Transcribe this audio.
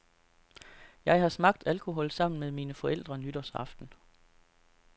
Jeg har smagt alkohol sammen med mine forældre nytårsaften.